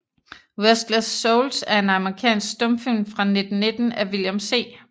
Restless Souls er en amerikansk stumfilm fra 1919 af William C